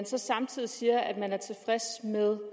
så samtidig siger at man er tilfreds med